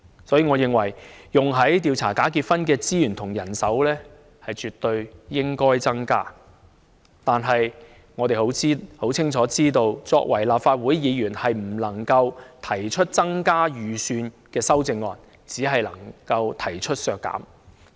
所以，我認為，用於調查假結婚的資源和人手絕對應該增加，但我們清楚知道，作為立法會議員，我們不能提出增加預算的修正案，只可以提出削減。